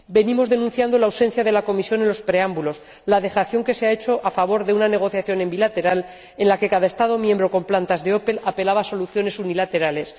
Venimos denunciando la ausencia de la Comisión en los preámbulos, la dejación que se ha hecho a favor de una negociación bilateral, en la que cada Estado miembro con plantas de Opel apelaba a soluciones unilaterales.